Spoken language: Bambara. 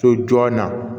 So jɔn na